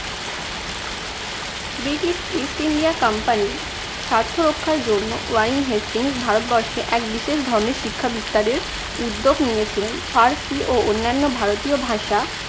British east india company র স্বার্থ রক্ষার জন্য ওয়ারেন হেস্টিং ভারতবর্ষে এক বিশেষ ধরনের শিক্ষা বিস্তারের উদ্যোগ নিয়েছিলেন। ফার্সি ও অন্যান্য ভারতীয় ভাষা